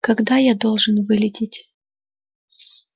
когда я должен вылететь